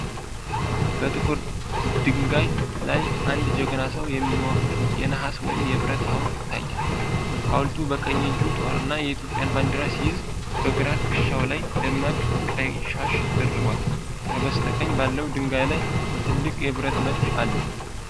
በትልቁ ጥቁር ድንጋይ ላይ አንድ ጀግና ሰው የሚወክል የነሐስ ወይም የብረት ሐውልት ይታያል። ሐውልቱ በቀኝ እጁ ጦርና የኢትዮጵያን ባንዲራ ሲይዝ፤ በግራ ትከሻው ላይ ደማቅ ቀይ ሻሽ ደርቧል። ከበስተቀኝ ባለው ድንጋይ ላይ ትልቅ የብረት መድፍ አለ።